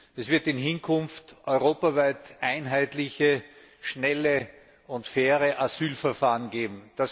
Es wird in Zukunft europaweit einheitliche, schnelle und faire Asylverfahren geben.